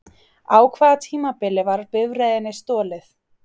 Á hvaða tímabili var bifreiðinni stolið?